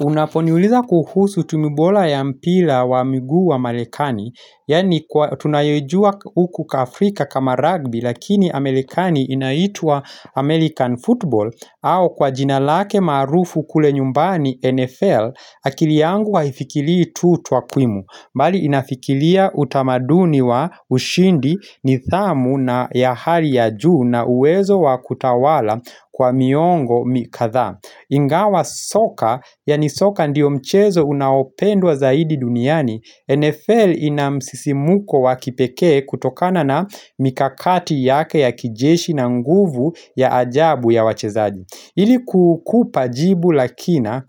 Unaponiuliza kuhusu tumi bola ya mpira ya miguu wa marekani, yani tunayoijua huku ka Afrika kama rugby lakini amerekani inaitwa American Football au kwa jina lake maarufu kule nyumbani NFL akili yangu wa hifikilii tu twa kwimu. Mbali inafikilia utamaduni wa ushindi nithamu na ya hali ya juu na uwezo wa kutawala kwa miongo mikatha Ingawa soka, yani soka ndiyo mchezo unaopendwa zaidi duniani NFL ina msisimko wakipekee kutokana na mikakati yake ya kijeshi na nguvu ya ajabu ya wachezaji Ili kukupa jibu lakina,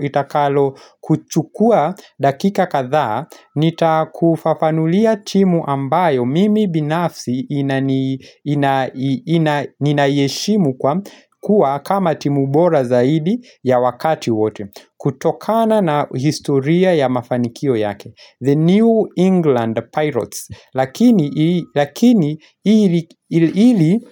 itakalo kuchukua dakika kadhaa, nitakufafanulia timu ambayo mimi binafsi inayeshimu kuwa kama timu bora zaidi ya wakati wote. Kutokana na historia ya mafanikio yake The New England Pirates Lakini ili ili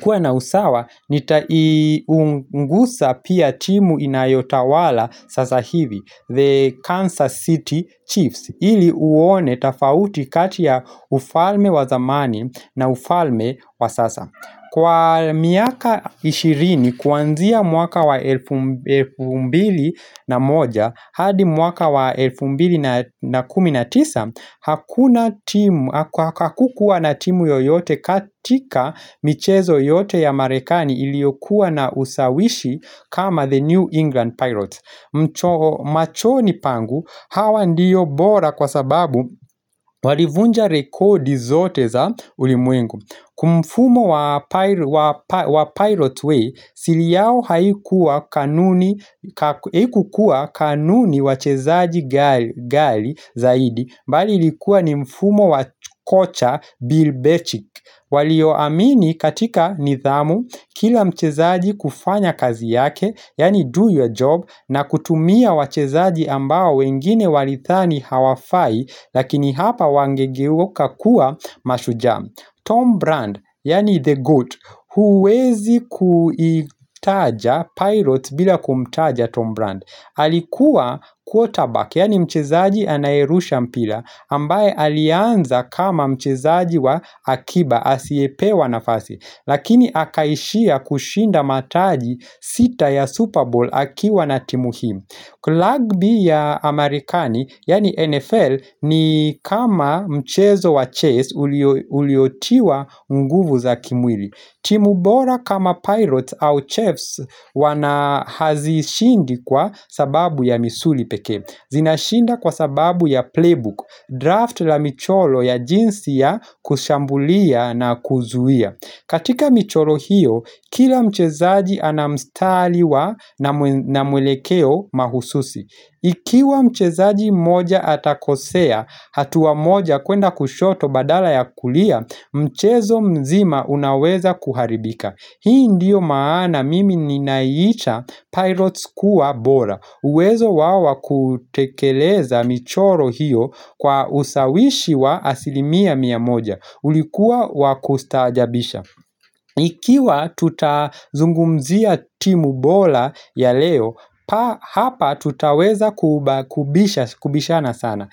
kuwa na usawaha Nitaiungusa pia timu inayotawala sasa hivi The Kansas City Chiefs Ili uone tafauti kati ufalme wa zamani na ufalme wa sasa Kwa miaka ishirini kuanzia mwaka wa elfu mbili na moja hadi mwaka wa elfu mbili na kumi na tisa hakuna timu haka kukuwa na timu yoyote katika michezo yote ya marekani iliokuwa na usawishi kama the New England Pirates. Machoni pangu hawa ndiyo bora kwa sababu walivunja rekodi zote za ulimwengu. Kumfumo wa pilot way, siri yao haikuwa kanuni ka haikukuwa kanuni wachezaji ghali zaidi bali likuwa ni mfumo wa kocha Bill Betchick Walioamini katika nithamu kila mchezaji kufanya kazi yake Yani do your job na kutumia wachezaji ambao wengine walithani hawafai Lakini hapa wangegeuka kuwa mashujaa Tom Brand, yani The Goat, huwezi kuitaja Pilots bila kumtaja Tom Brand. Alikuwa quarterback, yani mchezaji anayerusha mpira, ambaye alianza kama mchezaji wa akiba, asiyepewa nafasi. Lakini akaishia kushinda mataji sita ya Super Bowl akiwa na timu hii. Kulagbi ya Amerikani, yani NFL, ni kama mchezo wa chase uliotiwa nguvu za kimwili. Timu bora kama pirates au chefs wanahazishindi kwa sababu ya misuli peke. Zinashinda kwa sababu ya playbook, draft la michoro ya jinsi ya kushambulia na kuzuia. Katika michoro hiyo, kila mchezaji anamstali wa na na mwelekeo mahususi. Ikiwa mchezaji moja atakosea hatua moja kwenda kushoto badala ya kulia, mchezo mzima unaweza kuharibika. Hii ndiyo maana mimi ni naiicha pirates kuwa bola uwezo wao wa kutekeleza michoro hiyo kwa usawishi wa asilimia mia moja Ulikua wakustajabisha ikiwa tutazungumzia timu bora ya leo Hapa tutaweza kubishana sana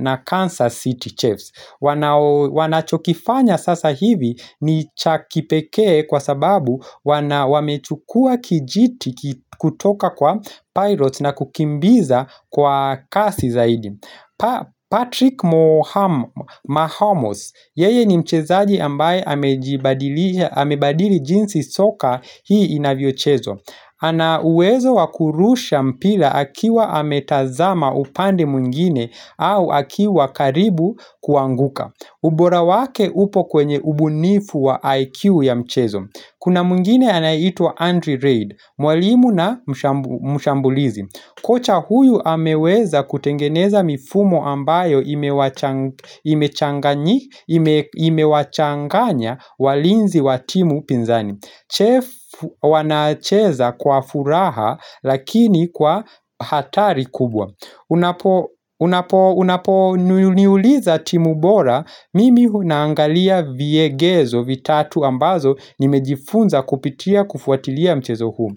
na Kansas City Chaves wanao wanachokifanya sasa hivi ni chaki pekee kwa sababu wamechukua kijiti kutoka kwa pirates na kukimbiza kwa kasi zaidi Patrick moo Mahomes, yeye ni mchezaji ambaye amejibadili amebadili jinsi soka hii inavyochezo ana uwezo wakurusha mpira akiwa ametazama upande mwngine au akiwa karibu kuanguka ubora wake upo kwenye ubunifu wa IQ ya mchezo Kuna mwngine anaitwa Andrew Reid, mwalimu na mshambulizi Kocha huyu ameweza kutengeneza mifumo ambayo imewacha imewachanganyi imewachanganya walinzi watimu pizani Chef wanacheza kwa furaha lakini kwa hatari kubwa Unapo nuliuliza timu bora Mimi huna naangalia viegezo vitatu ambazo Nimejifunza kupitia kufuatilia mchezo huu.